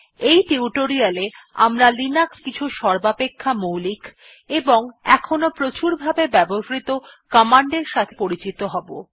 এই টিউটোরিয়ালটি তে আমরা লিনাক্সে এর কিছু সর্বাপেক্ষা মৌলিক ও এখনও প্রচুরভাবে ব্যবহৃত র্নিদেশাবলীর সঙ্গে পরিচিত হব